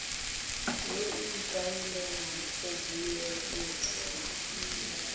yo o ikaelang go beeletsa